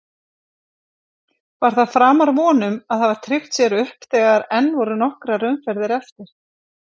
Var það framar vonum að hafa tryggt sér upp þegar enn voru nokkrar umferðir eftir?